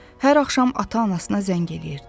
Hər axşam ata-anasına zəng eləyirdi.